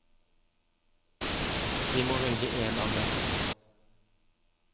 De må velge én av dem.